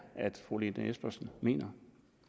fru lene espersen mener